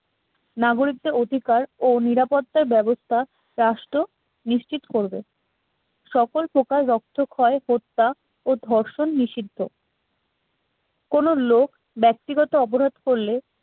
নাগরিকদের অধিকার ও নিরাপত্তার ব্যবস্থা রাষ্ট্র নিশ্চিত করবে। সকল প্রকার রক্ত ক্ষয় হত্যা ও ধর্ষণ নিষিদ্ধ কোন লোক ব্যক্তিগত অপরাধ করলে